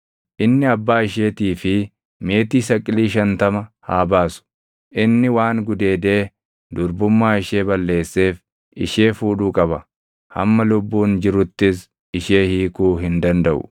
inni abbaa isheetii fi meetii saqilii shantama haa baasu. Inni waan gudeedee durbummaa ishee balleesseef ishee fuudhuu qaba. Hamma lubbuun jiruttis ishee hiikuu hin dandaʼu.